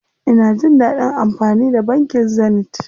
Ina jin dadin amfani da bankin Zenith.